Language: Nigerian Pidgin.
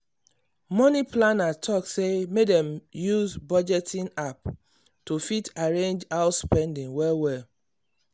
money planner talk say make dem use budgeting app to fit arrange house spending well-well.